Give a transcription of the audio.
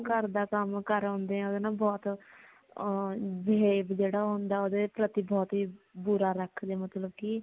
ਸਾਰਾ ਘਰ ਦਾ ਕਮ ਕਰਾਉਂਦੇ ਹਾ ਓਦੇ ਨਾਲ ਬਹੁਤ behave ਜੇੜਾ ਹੁੰਦਾ ਓਦੇ ਪ੍ਰਤੀ ਬਹੁਤ ਹੀ ਬੁਰਾ ਰੱਖਦੇ ਨੇ ਮਤਲਬ ਕਿ